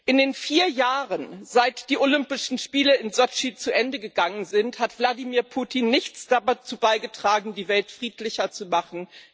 In den vier Jahren, seit die Olympischen Spiele in Sotschi zu Ende gegangen sind, hat Wladimir Putin nichts dazu beigetragen, die Welt friedlicher zu machen.